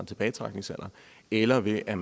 tilbagetrækningsalderen eller ved at